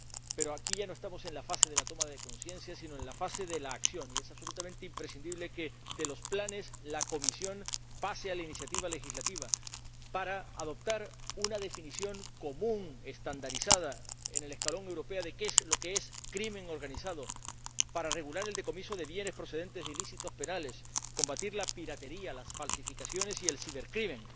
Pero aquí ya no estamos en la fase de toma de conciencia, sino en la fase de acción, y es absolutamente imprescindible que de los planes la Comisión pase a la iniciativa legislativa para adoptar una definición común estandarizada a escala europea de qué es crimen organizado, para regular el decomiso de bienes procedentes de ilícitos penales, combatir la piratería, las falsificaciones y el cibercrimen